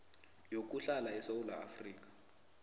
yokuhlala esewula afrika